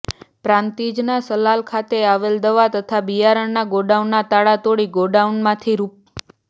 પ્રાંતિજના સલાલ ખાતે આવેલ દવા તથા બિયારણના ગોડાઉનના તાળા તોડી ગોડાઉનમાંથી રૂા